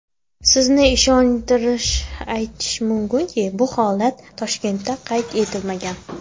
Sizni ishontirib aytishim mumkinki, bu holat Toshkentda qayd etilmagan.